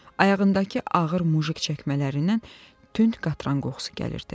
Ayağındakı ağır mujik çəkmələrindən tünd qatran qoxusu gəlirdi.